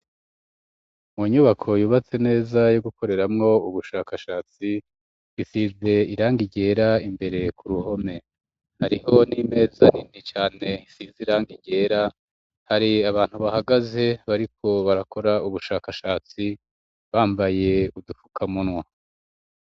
Mu nyubako yubatse neza yo gukoreramwo ubushakashatsi isize irangi ryera, imbere ku ruhome hariho n'imeza nini cane isize irangi ryera ,hari abantu bahagaze bariko barakora ubushakashatsi bambaye udufukamunwa.